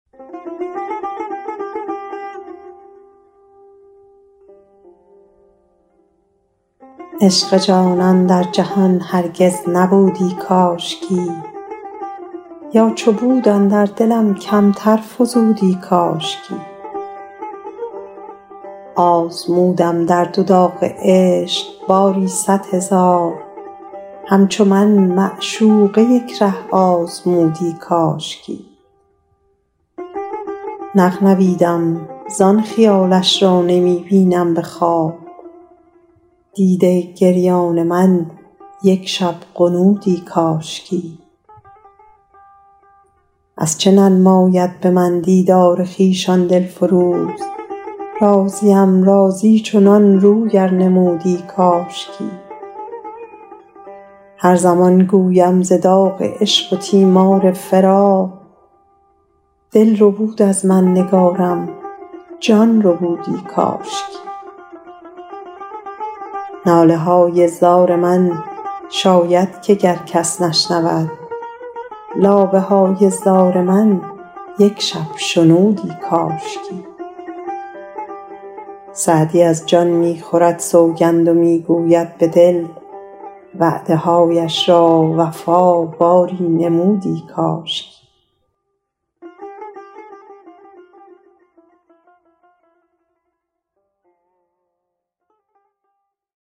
عشق جانان در جهان هرگز نبودی کاشکی یا چو بود اندر دلم کمتر فزودی کاشکی آزمودم درد و داغ عشق باری صد هزار همچو من معشوقه یک ره آزمودی کاشکی نغنویدم زان خیالش را نمی بینم به خواب دیده گریان من یک شب غنودی کاشکی از چه ننماید به من دیدار خویش آن دل فروز راضیم راضی چنان روی ار نمودی کاشکی هر زمان گویم ز داغ عشق و تیمار فراق دل ربود از من نگارم جان ربودی کاشکی ناله های زار من شاید که گر کس نشنود لابه های زار من یک شب شنودی کاشکی سعدی از جان می خورد سوگند و می گوید به دل وعده هایش را وفا باری نمودی کاشکی